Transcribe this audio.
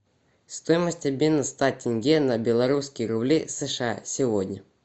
стоимость обмена ста тенге на белорусские рубли сша сегодня